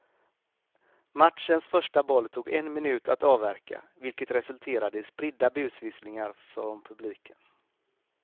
Matchens första boll tog en minut att avverka, vilket resulterade i spridda busvisslingar från publiken.